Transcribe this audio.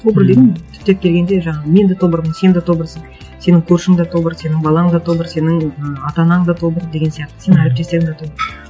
тобыр деген түптеп келгенде жаңағы мен де тобырмын сен де тобырсың сенің көршің де тобыр сенің балаң да тобыр сенің ы ата анаң да тобыр деген сияқты сенің әріптестерің де тобыр